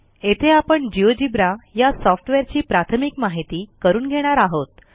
येथे आपण जिओजेब्रा या सॉफ्टवेअरची प्राथमिक माहिती करून घेणार आहोत